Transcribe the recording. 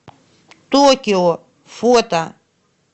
токио фото